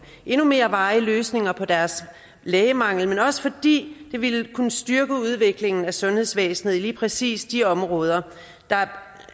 endnu mere varige løsninger på deres lægemangel men også fordi det ville kunne styrke udviklingen af sundhedsvæsenet i lige præcis de områder der